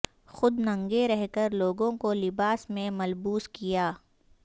خود ننگے رہ کر لوگوں کو لباس میں ملبوس کیا